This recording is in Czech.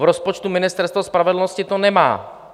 V rozpočtu Ministerstva spravedlnosti to není.